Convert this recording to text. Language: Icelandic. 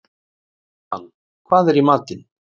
Sigmann, hvað er í matinn?